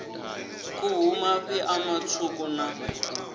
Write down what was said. khuhu mafhi ṋama tswuku na